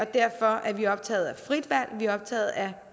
derfor er vi optaget af frit valg vi er optaget af